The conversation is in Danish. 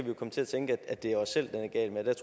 jo komme til at tænke at det er os selv den er gal med der